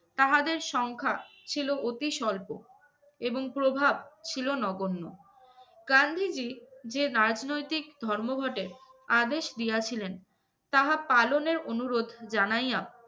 তাহাদের সংখ্যা ছিল অতি স্বল্প, এবং প্রভাব ছিল নগন্য। গান্ধীজী যে রাজনৈতিক ধর্মঘটের আদেশ দিয়াছিলেন তাহা পালনের অনুরোধ জানাইয়া